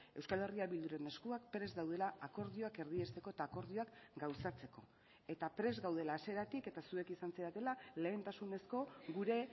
euskal herria bilduren eskuak prest daudela akordioak erdiesteko eta akordioak gauzatzeko eta prest gaudela hasieratik eta zuek izan zaretela lehentasunezko gure